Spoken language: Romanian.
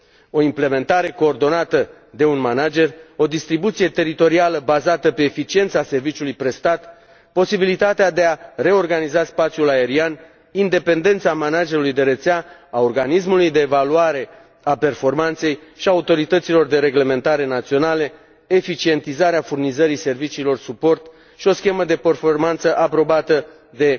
O implementare coordonată de un manager, o distribuție teritorială bazată pe eficiența serviciului prestat, posibilitatea de a reorganiza spațiul aerian, independența managerului de rețea, a organismului de evaluare a performanței și a autorităților de reglementare naționale, eficientizarea furnizării serviciilor suport și o schemă de performanță aprobată de